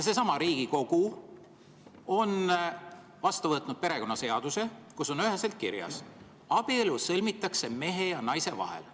Seesama Riigikogu on vastu võtnud perekonnaseaduse, kus on üheselt kirjas, et abielu sõlmitakse mehe ja naise vahel.